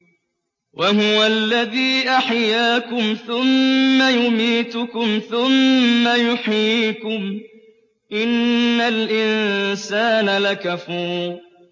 وَهُوَ الَّذِي أَحْيَاكُمْ ثُمَّ يُمِيتُكُمْ ثُمَّ يُحْيِيكُمْ ۗ إِنَّ الْإِنسَانَ لَكَفُورٌ